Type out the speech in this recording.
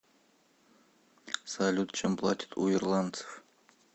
салют чем платят у ирландцев